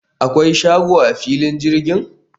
akwai shago a filin jirgin?